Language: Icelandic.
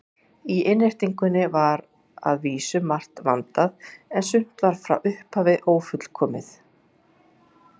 Í innréttingunni var að vísu margt vandað, en sumt var frá upphafi ófullkomið.